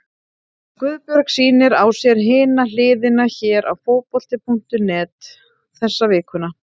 Guðbjörg sýnir á sér Hina hliðina hér á Fótbolti.net þessa vikuna.